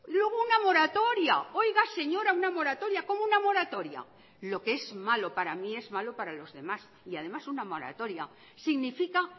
luego una moratoria oiga señora una moratoria cómo una moratoria lo que es malo para mí es malo para los demás y además una moratoria significa